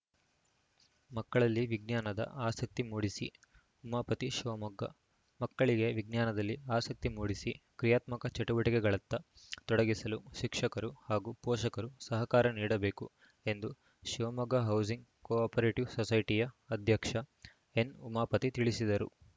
ಮಕ್ಕಳಲ್ಲಿ ವಿಜ್ಞಾನದ ಆಸಕ್ತಿ ಮೂಡಿಸಿ ಉಮಾಪತಿ ಶಿವಮೊಗ್ಗ ಮಕ್ಕಳಿಗೆ ವಿಜ್ಞಾನದಲ್ಲಿ ಆಸಕ್ತಿ ಮೂಡಿಸಿ ಕ್ರೀಯಾತ್ಮಕ ಚಟುವಟಿಕೆಗಳತ್ತ ತೊಡಗಿಸಲು ಶಿಕ್ಷಕರು ಹಾಗೂ ಪೋಷಕರು ಸಹಕಾರ ನೀಡಬೇಕು ಎಂದು ಶಿವಮೊಗ್ಗ ಹೌಸಿಂಗ್‌ ಕೋ ಆಪರೇಟಿವ್‌ ಸೊಸೈಟಿಯ ಅಧ್ಯಕ್ಷ ಎನ್‌ ಉಮಾಪತಿ ತಿಳಿಸಿದರು